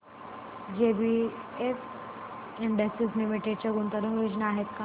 JBF industries limited च्या गुंतवणूक योजना आहेत का